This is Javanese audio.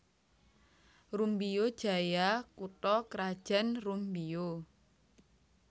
Rumbio Jaya kutha krajan Rumbio